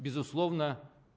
безусловно